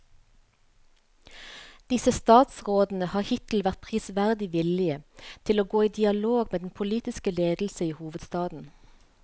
Disse statsrådene har hittil vært prisverdig villige til å gå i dialog med den politiske ledelse i hovedstaden.